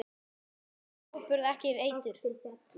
Við seljum áburð, ekki eitur.